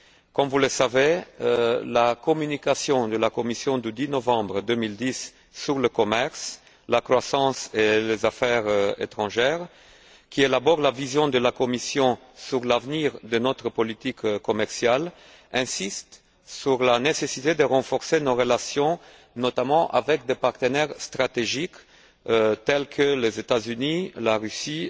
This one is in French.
Comme vous le savez, la communication de la Commission du 10 novembre 2010 sur le commerce, la croissance et les affaires étrangères, qui expose la vision de la Commission sur l'avenir de notre politique commerciale, insiste sur la nécessité de renforcer nos relations, notamment avec des partenaires stratégiques tels que les États Unis, la Russie,